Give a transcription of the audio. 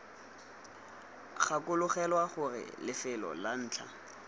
gakologelwa gore lefelo la ntlha